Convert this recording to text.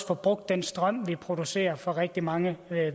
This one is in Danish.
får brugt den strøm vi producerer fra rigtig mange